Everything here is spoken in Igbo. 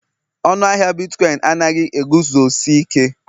Ọnụ ahịa bitkọịn anaghị eguzosi ike